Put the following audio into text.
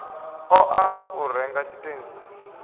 ṱo ḓa u renga tshitentsi